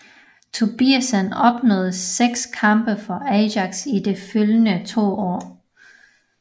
Tobiasen opnåde 6 kampe for Ajax i de følgende to år